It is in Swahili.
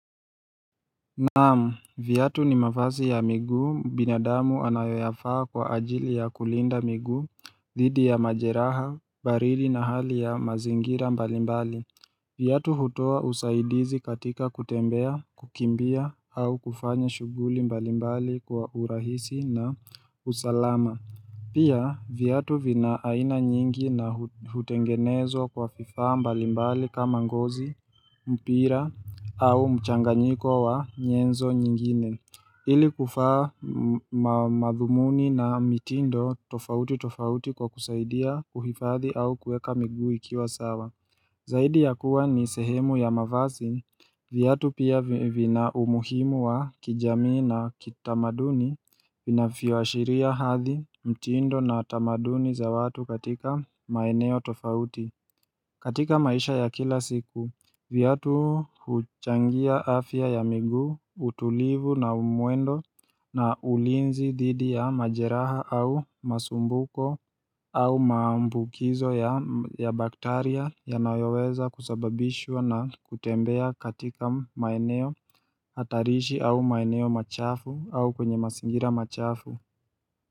Naamu, viyatu ni mafazi ya miguu binadamu anayofa kwa ajili ya kulinda migu, dhidi ya majeraha, baridi na hali ya mazingira mbalimbali. Vyatu hutua usaidizi katika kutembea, kukimbia au kufanya shuguli mbalimbali kwa urahisi na usalama. Pia vyatu vina aina nyingi na hutengenezwa kwa vifaa mbalimbali kama ngozi, mpira au mchanganyiko wa nyenzo nyingine. Ili kufa madhumuni na mitindo tofauti tofauti kwa kusaidia kuhifathi au kueka migu ikiwa sawa. Zaidi ya kuwa ni sehemu ya mavasi, viatu pia vina umuhimu wa kijamii na kitamaduni vinafioashiria hathi mtindo na tamaduni za watu katika maeneo tofauti katika maisha ya kila siku, vyatu huchangia afya ya migu, utulivu na umwendo na ulinzi didi ya majeraha au masumbuko au maambukizo ya baktaria yanayoweza kusababishwa na kutembea katika maeneo hatarishi au maeneo machafu au kwenye masingira machafu.